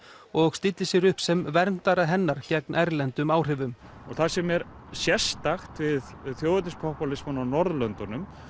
og stilli sér upp sem verndara hennar gegn erlendum áhrifum og það sem er sérstakt við þjóðernis popúlísmann á Norðurlöndunum